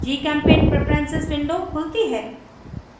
gchempaint preferences window खुलती है